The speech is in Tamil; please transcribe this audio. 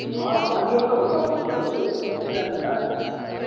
ஆஹ் family ஓட தான் வந்தாகணும் அப்பறம் எப்படி first time ல